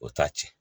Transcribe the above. O t'a tiɲɛ